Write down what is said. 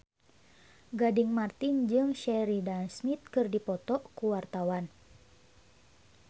Gading Marten jeung Sheridan Smith keur dipoto ku wartawan